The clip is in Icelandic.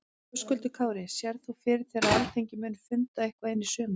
Höskuldur Kári: Sérð þú fyrir þér að Alþingi muni funda eitthvað inn í sumarið?